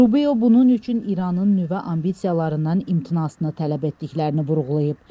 Rubio bunun üçün İranın nüvə ambisiyalarından imtinasını tələb etdiklərini vurğulayıb.